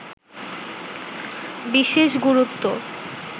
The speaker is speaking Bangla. বিশেষ গুরুত্ব